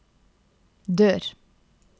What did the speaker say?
dør